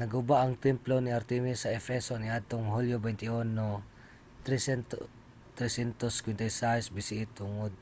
naguba ang templo ni artemis sa efeso niadtong hulyo 21 356 bce tungod